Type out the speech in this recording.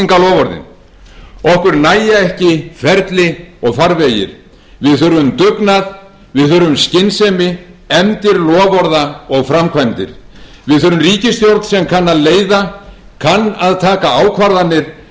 kosningaloforðin okkur nægja ekki ferli og farvegir við þurfum dugnað við þurfum skynsemi efndir loforða og framkvæmdir við þurfum ríkisstjórn sem kann að leiða kann að taka ákvarðanir